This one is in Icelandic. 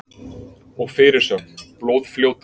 Og fyrirsögn: Blóðfljótið.